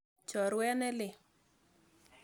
Chorwet ne lel.